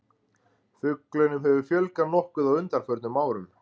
fuglunum hefur fjölgað nokkuð á undanförnum árum